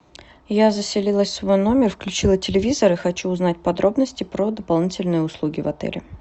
я заселилась в свой номер включила телевизор и хочу узнать подробности про дополнительные услуги в отеле